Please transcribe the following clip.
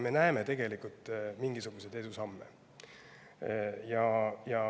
Me tegelikult näeme mingisuguseid edusamme.